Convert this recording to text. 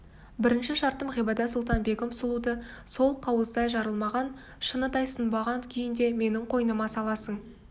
бірінші шартым ғибадат-сұлтан-бегім сұлуды сол қауыздай жарылмаған шыныдай сынбаған күйінде менің қойныма саласың